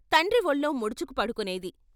తండ్రి వొళ్ళో ముడుచుకు పడుకునేది.